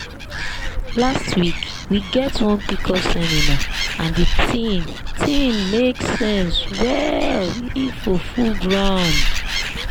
last week we get one pcos seminar and the thing thing make sense well info full ground